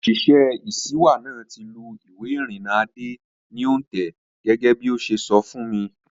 Òṣìṣẹ́ ìṣíwá náà ti lù ìwé ìrìnnà Adé ní òǹtẹ̀ gẹ́gẹ́bí ó ṣe sọ fún mi